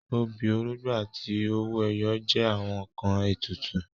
Obì, orógbó àti owó ẹyọ jẹ́ àwọn ǹkan ètùtù